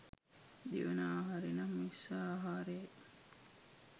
දෙවන ආහාරය නම් ඵස්ස ආහාරය යි.